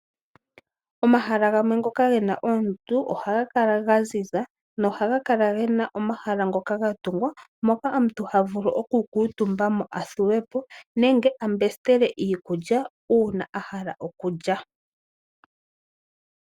Omahala gamwe ngoka gena oondundu ohaga kala ga ziza, nohaga kala gena omahala ngoka ga tungwa moka omuntu ha vulu oku kuutumba mo a thuwepo nenge a mbesitele iikulya uuna a hala okulya.